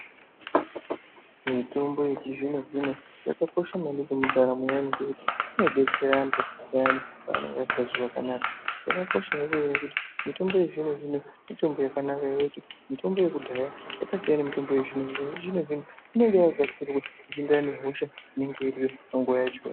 Mitombo yechizvino-zvino yakakosha maningi mundaramo yeanhu ngekuti inodetsera antu vayani vanenge vasikazwi zvakanaka. Yakakosha mitombo iyoyo nekuti mitombo yechizvino-zvino mitombo yakanaka nekuti mitombo yekudhaya yakasiyana nemitombo yechizvino zvino, yechizvino zvino inenge yakagadzirwa zvichienderana nehosha inenge iripo nguva yacho.